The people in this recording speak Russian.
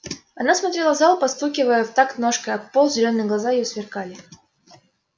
она смотрела в зал постукивая в такт ножкой об пол зелёные глаза её сверкали